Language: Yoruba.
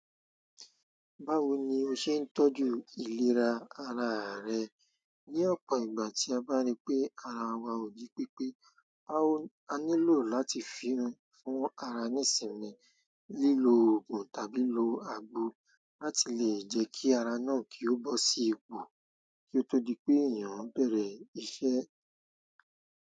Báwo ni o ṣe ń tọ́jú ìlera ara rẹ ní ọ̀pọ̀ ìgbà tí a bá rí pé ara wa ò ji pé pé? Báwo ni a ní lò láti fún ara ní ìsinmi, lílo òògùn tàbí lo àgbo láti lè jẹ́ kí ara náà kí ó bọ́ sí ipò kí ó tó di pé èèyàn bẹ̀rẹ̀ iṣẹ́?